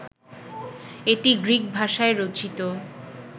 এটি গ্রিক ভাষায় রচিত